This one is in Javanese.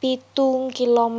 pitu Km